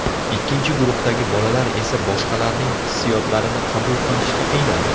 Ikkinchi guruhdagi bolalar esa boshqalarning hissiyotlarini qabul qilishga qiynaldi.